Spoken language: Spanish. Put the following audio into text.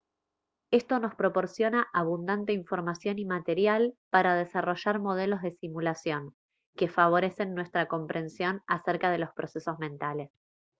esto nos proporciona abundante información y material para desarrollar modelos de simulación que favorecen nuestra comprensión acerca de los procesos mentales